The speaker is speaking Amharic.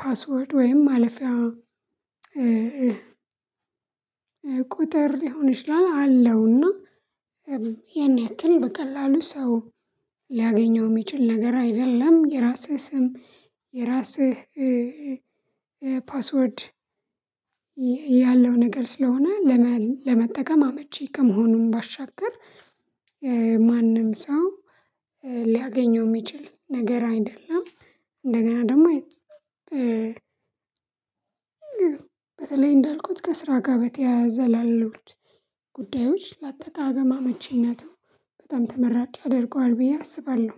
ፓስወርድ ወይም ማለፊያ ቁጥር ሊሆን ይችላል አለውና ያን ያክል በቀላሉ ሰው ሊያገኘው የሚችል ነገር አይደለም። የራስህ ስም የራስህ ፓስወርድ ያለው ነገር ስለሆነ ለመጠቀም አመቺ ከመሆኑም ባሻገር ማንም ሰው ሊያገኘው የሚችል ነገር አይደለም። እንደገና ደግሞ በተለይ እንዳልኩት ከስራ ጋር በተያያዘ ላሉት ጉዳዮች ላጠቃቀም በጣም አመቺነቱ በጣም ተመራጭ ያደርገዋል ብዬ አስባለሁ